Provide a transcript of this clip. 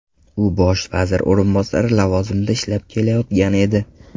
U bosh vazir o‘rinbosari lavozimida ishlab kelayotgan edi.